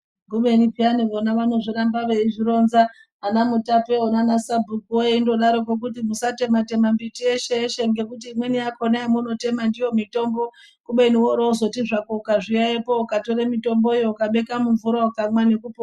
Kubeni peyani vona vanoramba veizvironza ana mutapeo nana sabhukuo eindodaroko musatematema mbiti yeshe ngekuti imweni yakona yamunotema ndiyo mitombo kubeni woro wozoti zvako ukazviyaiyo ukatore mitomboyo ukabeka mumvura ukamwa nekupona.